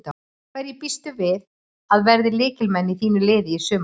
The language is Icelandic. Hverjir býstu við að verði lykilmenn í þínu liði í sumar?